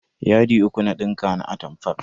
Yadi uku na dinka na atamfar.